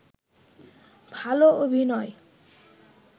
ভাল অভিনয়